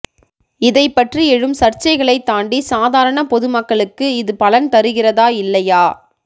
இதைப் பற்றி எழும் சர்ச்சைகளைத் தாண்டி சாதாரண பொது மக்களுக்கு இது பலன் தருகிறதா இல்லையா